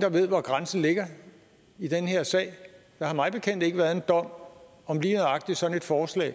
der ved hvor grænsen ligger i den her sag der har mig bekendt ikke været en dom om lige nøjagtig sådan et forslag